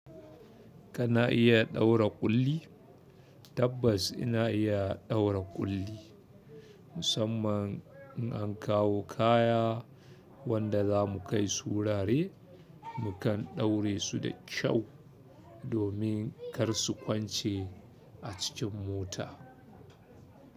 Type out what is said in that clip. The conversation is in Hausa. Kana iya ɗaura ƙulli? Tabbas ina iya ɗaura ƙulli. Musamman in an kawo kaya wanda za mu kai su wurare, mu kan ɗaure su da kyau domin kar su kwance a cikin mota.